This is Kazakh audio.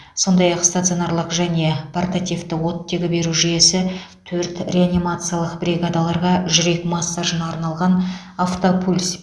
сондай ақ стационарлық және портативті оттегі беру жүйесі төрт реанимациялық бригадаларға жүрек массажына арналған автопульс